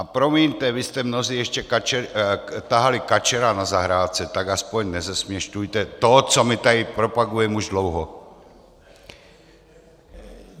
A promiňte, vy jste mnozí ještě tahali kačera na zahrádce, tak aspoň nezesměšňujte to, co my tady propagujeme už dlouho.